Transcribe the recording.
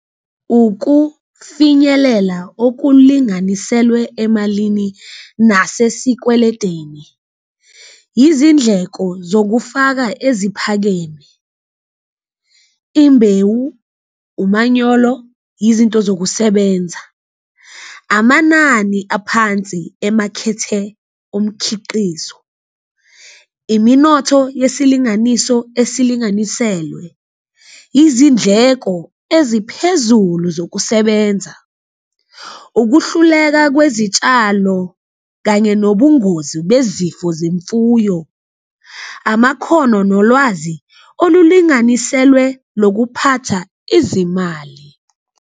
Ukufinyelela okulinganiselwe emalini nase sikweledeni, izindleko zokufaka eziphakeme, imbewu, umanyolo, izinto zokusebenza, amanani aphansi emakhethe omkhiqizo, iminotho yesilinganiso esilinganiselwe, izindleko eziphezulu zokusebenza. Ukuhluleka kwezitshalo kanye nobungozi bezifo zemfuyo, amakhono nolwazi olulinganiselwe lokuphatha izimali.